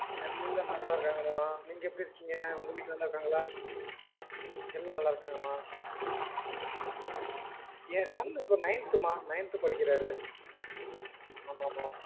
எல்லா நல்லாருக்காங்க மா நீங்க எப்டி இருக்கீங்க உங்க வீட்ல நல்லாருக்காங்களா எல்லாம் நல்ல இருக்காங்க என் son இப்ப nineth மா nineth படிக்கிறாரு ஆமாமா